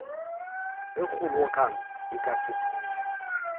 ge kgobokano e ka fetiša